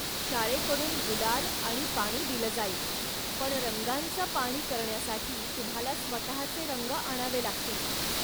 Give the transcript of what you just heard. शाळेकडून गुलाल आणि पाणी दिलं जाईल, पण रंगांच पाणी करण्यासाठी तुम्हाला स्वतःचे रंग आणावे लागतील.